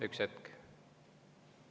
Üks hetk!